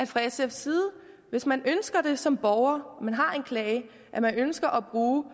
fra sfs side hvis man som borger har en klage og ønsker at bruge